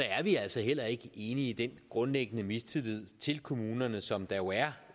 er vi altså heller ikke enige i den grundlæggende mistillid til kommunerne som der jo er